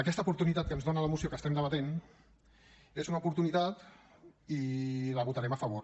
aquesta oportunitat que ens dóna la moció que estem debatent és una oportunitat i hi votarem a favor